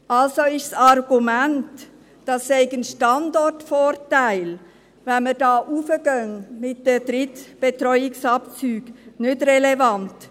Also ist das Argument, es sei ein Standortvorteil, wenn wir mit den Drittbetreuungsabzügen raufgehen, nicht relevant.